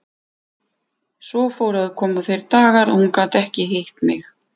Svo fóru að koma þeir dagar að hún gat ekki hitt mig.